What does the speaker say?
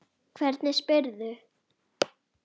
Hvernig spyrðu.